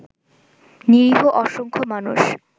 নিরীহ অসংখ্য মানুষ